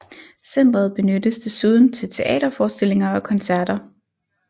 Centret benyttes desuden til teaterforestillinger og koncerter